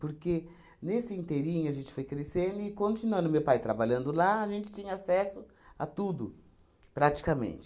Porque nesse inteirinho a gente foi crescendo e, continuando o meu pai trabalhando lá, a gente tinha acesso a tudo, praticamente.